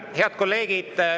Head kolleegid!